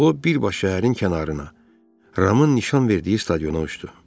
O birbaşa şəhərin kənarına, Ramın nişan verdiyi stadiona uçdu.